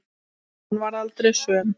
Hún varð aldrei söm.